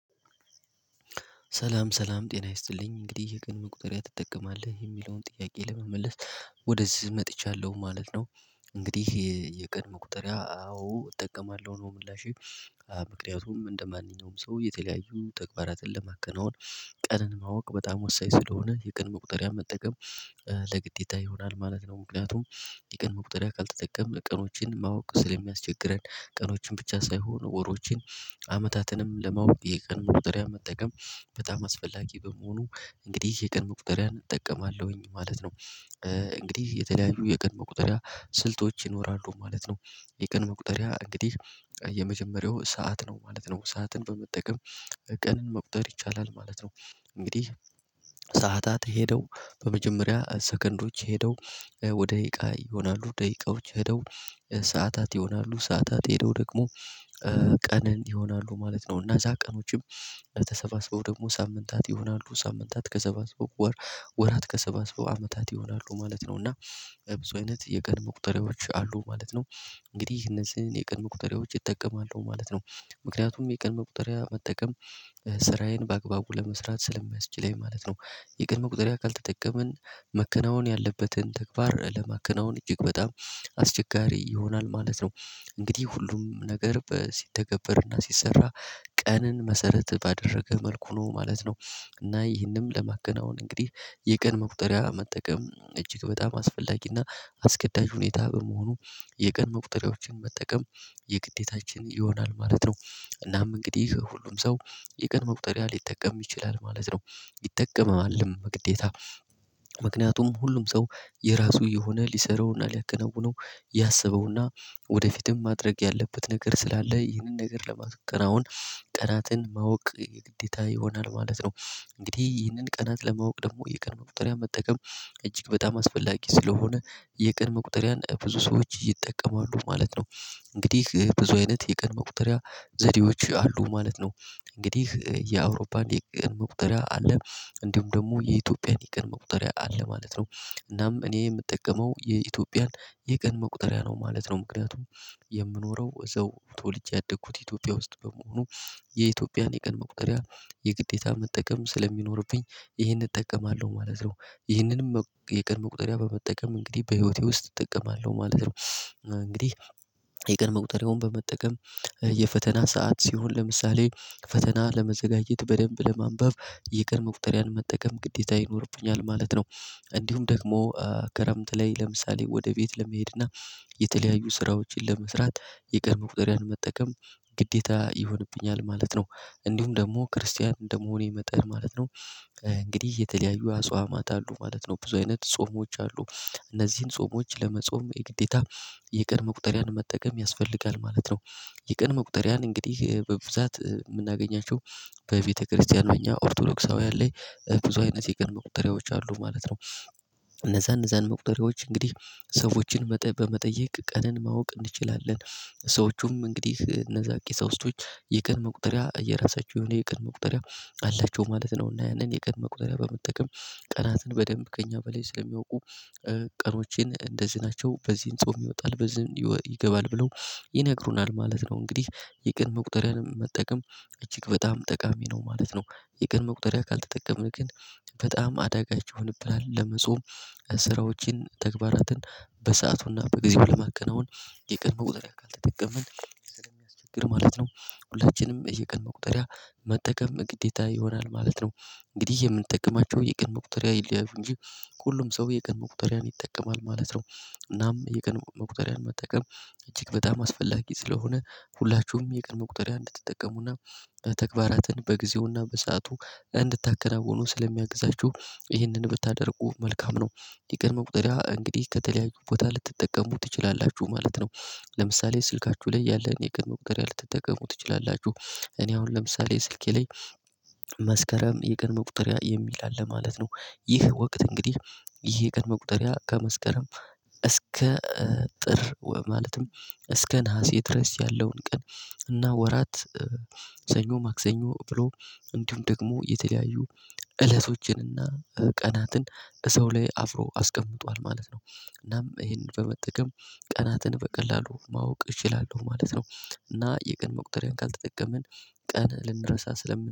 ሰላም ሰላም ጤና ይስጥልኝ እንግዲህ የቀን መቁጠሪያ ትጠቀማለህ የሚለውን ጥያቄ ለመመለስ ወደዚህ መጥቻለሁ ማለት ነው። እንግዲህ የቀን መቁጠሪያ አዎ እጠቀማለሁ ነው። ምላሼ ምክንያቱም እንደማንኛውም ሰው የተለያዩ ተግባራትን ለማከናወን ቀንን ማወቅ በጣም ወሳኝ ስለሆነ የቀን መቁጠሪያ መጠቀም ግዴታ ይሆናል ማለት ነው። ምክንያቱም የቀን መቁጠሪያ ካልተጠቀምን ቀኖችን ማወቅ ስለሚያስቸግረን ቀኖችን ብቻ ሳይሆን ወሮችን አመታትንም ለማወቅ የቀን መቁጠሪያ መጠቀም በጣም አስፈላጊ በመሆኑ እንግዲህ የቀን መቁጠሪያን እጠቀማለሁኝ ማለት ነው። እንግዲህ የተለያዩ የቀን መቁጠሪያ ስልቶች ይኖራሉ ማለት ነው። የቀን መቁጠሪያ እንግዲህ የመጀመሪያው ሰዓት ነው ማለት ነው ሰዓትን በመጠቀም ቀንን መቁጠር ይቻላል ማለት ነው። እንግዲህ ሰዓታት ሄደው በመጀመሪያ ሰከንዶች ሄደው ደቂቃ ይሆናሉ ደቂቃዎች ሄደው ሰዓታት ይሆናሉ ሰዓታት ሄደው ደግሞ ቀን ይሆናሉ ማለት ነው። እነዛ ቀኖችም ተሰባስበው ደግሞ ሳምንታት ይሆናሉ ሳምንታት ተሰባስበው ወር ወራት ተሰባስበው አመታት ይሆናሉ ማለት ነው። እና ብዙ አይነት የቀን መቁጠሪያዎች አሉ ማለት ነው። እንግዲህ እነዚህን የቀን መቁጠሪያዎች እጠቀማለው ማለት ነው። ምክንያቱም የቀን መቁጠያ መጠቀም ስራዬን በአግባቡ ለመስራት ስለሚያስችለኝ ማለት ነው። የቀን መቁጠሪያ ካልተጠቀምን መከናወን ያለበትን ተግባር ለማከናወን እጅግ በጣም አስቸጋሪ ይሆናል ማለት ነው። እንግዲህ ሁሉም ነገር ሲተገበርና ሲሰራ ቀንን መሰረት ባደረገ መልኩ ነው ማለት ነው። እና ይህንንም ለማገናወን እንግዲህ የቀን መቁጠሪያ መጠቀም እጅግ በጣም አስፈላጊና አስገዳጅ ሁኔታ በመሆኑ የቀን መቁጠሪያዎችን መጠቀም የግዴታችን ይሆናል ማለት ነው። እናም እንግዲህ ሁሉም ሰው የቀን መቁጠሪያ ሊጠቀም ይችላል ማለት ነው። ይጠቀማልም ግዴታ ምክንያቱም ሁሉም ሰው የራሱ የሆነ ሊሰራውና ሊያከነውነው ያሰበውና ወደፊትም ማድረግ ያለበት ነገር ስላለ ይህንን ነገር ለማከራውን ቀናትን ማወቅ ግዴታ ይሆናል ማለት ነው። እንግዲህ ይህንን ቀናት ለማወቅ ደግሞ የቀን መቁጠሪያ መጠቀም እጅግ በጣም አስፈላጊ ስለሆነ የቀን መቁጠሪያን ብዙ ሰዎች ይጠቀማሉ ማለት ነው። እንግዲህ ብዙ አይነት የቀን መቁጠሪያ ዘዴዎች አሉ ማለት ነው። እንግዲህ የአውሮፓን የቀን መቁጠሪያ አለ እንዲሁም ደግሞ የኢትዮጵያ የቀን መቁጠሪያ አለ ማለት ነው። እናም እኔ የምጠቀመው የኢትዮጵያን የቀን መቁጠሪያ ነው ማለት ነው። ምክንያቱም የምኖረው እዛው ተወልጄ ያደግኩት ኢትዮጵያ ውስጥ በመሆኑ የኢትዮጵያን የቀን መቁጠሪያ የግዴታ መጠቀም ስለሚኖርብኝ ይሄን እጠቀማለሁ ማለት ነው። ይሄንንም የቀን መቁጠሪያ በመጠቀም እንግዲህ በህይወቴ ውስጥ እጠቀማለሁ ማለት ነው። እንግዲህ የቀን መቁጠሪያውን በመጠቀም የፈተና ሰዓት ሲሆን ለምሳሌ ፈተና ለመዘጋጀት በደንብ ለማንበብ የቀን መቁጠሪያን መጠቀም ግዴታ ይኖርብኛል ማለት ነው። እንዲሁም ደግሞ ክረምት ላይ ለምሳሌ ወደ ቤት ለመሄድ እና የተለያዩ ስራዎችን ለመስራት የቀን መቁጠሪያ መጠቀም ግዴታ ይሆንብኛል ማለት ነው። እንዲሁም ደግሞ ክርስቲያን እንደመሆኔ መጠን ማለት ነው እንግዲህ የተለያዩ አጽዋማት አሉ ማለት ነው። ብዙ አይነት ጾሞች አሉ። እነዚህን ጾሞች ለመጾም የግዴታ የቀን መቁጠሪያን መጠቀም ያስፈልጋል ማለት ነው። የቀን መቁጠሪያን እንግዲህ በብዛት የምናገኛቸው በቤተክርስቲያን እኛ ኦርቶዶክሳውያን ላይ ብዙ አይነት የቅን መቁጠሪያዎች አሉ ማለት ነው። እነዛን መቁጠሪያዎች እንግዲህ ሰዎችን በመጠየቅ ቀንን ማወቅ እንችላለን ሰዎቹም እንግዲህ እነዛ ቄሳውስቶች የቀን መቁጠሪያ የራሳቸው የሆነ የቀን መቁጠሪያ አላቸው ማለት ነው። እና ያንን የቀን መቁጠሪያ በመጠቀም ቀናትን በደንብ ከእኛ በላይ ስለሚያውቁ ቀኖቼን እንደዚህ ናቸው በዚህን ጾም ይወጣል በዚህም ይገባል ብለው ይነግሩናል ማለት ነው። እንግዲህ የቀን መቁጠሪያንም መጠቀም እጅግ በጣም ጠቃሚ ነው ማለት ነው። የቀን መቁጠሪያ ካልተጠቀምን ግን በጣም አዳጋች ይሆንብናል ለመጾም ስራዎችን ተግባራትን በሰአቱና በጊዜው ለማከናወን የቀን መቁጠሪያ ካልተጠቅምን ስለሚያስቸግር ማለት ነው። ሁላችንም የቀን መቁጠሪያ መጠቀም ግዴታ ይሆናል ማለት ነው። እንግዲህ የምንጠቀማቸው የቀን መቁጠሪያ ይለያዩ እንጂ ሁሉም ሰው የቀን መቁጠሪያን ይጠቀማል ማለት ነው። እናም የቀን መቁጠሪያን መጠቀም እጅግ በጣም አስፈላጊ ስለሆነ ሁላችሁም የቀን መቁጠሪያ እንድትጠቀሙና ተግባራትን በጊዜውና በሰአቱ እንድታከናውኑ ስለሚያግዛችሁ ይህንን ብታደርጉ መልካም ነው። የቀን መቁጠሪያ እንግዲህ ከተለያዩ ቦታ ልትጠቀሙ ትችላላችሁ ማለት ነው። ለምሳሌ ስልካችሁ ላይ ያለን የቀን መቁጠሪያ ልትጠቀሙ ትችላላችሁ። እኔ አሁን ለምሳሌ ስልኬ ላይ መስከረም የቀን መቁጠሪያ የሚል አለ ማለት ነው። ይህ ወቅት እንግዲህ ይሄ የቀን መቁጠሪያ ከመስከረም እስከ ጥር ማለትም እስከ ነሀሴ ድረስ ያለውን ቀን እና ወራት ሰኞ ማክሰኞ ብሎ እንዲሁም ደግሞ የተለያዩ እለቶችንና ቀናትን እዛው ላይ አብሮ አስቀምጧል ማለት ነው። እናም ይሄንን በመጠቀም ቀናትን በቀላሉ ማወቅ እችላለሁ ማለት ነው። እና የቀን መቁጠሪያን ካልተጠቀምን ቀን ልንረሳ ስለምንችል